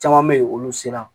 Caman bɛ yen olu sera